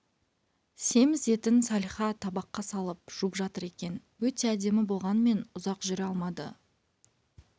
семіз етін салиха табаққа салып жуып жатыр екен өте әдемі болғанмен ұзақ жүре алмады